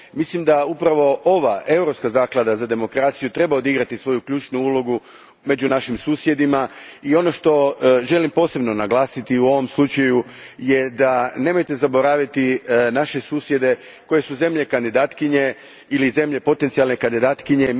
Mislim da upravo ova Europska zaklada za demokraciju treba odigrati svoju ključnu ulogu među našim susjedima i ono što želim posebno naglasiti u ovom slučaju je nemojte zaboraviti naše susjede koji su zemlje kandidatkinje ili zemlje potencijalne kandidatkinje.